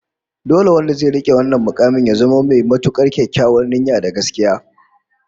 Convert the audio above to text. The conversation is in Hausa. Dole wanda zai rike wannan mukamin ya zamo mai matukar kyakkyawar niyya da gaskiya